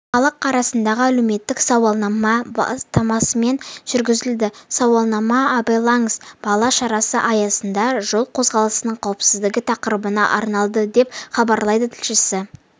халық арасындағы әлеуметтік сауалнама бастамасымен жүргізілді сауалнама абайлаңыз бала шарасы аясында жол қозғалысының қауіпсіздігі тақырыбына арналды деп хабарлайды тілшісі